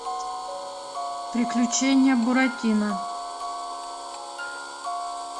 приключения буратино